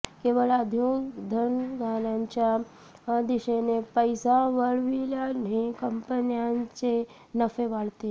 केवळ उद्योगधंद्यांच्या दिशेने पैसा वळविल्याने कंपन्यांचे नफे वाढतील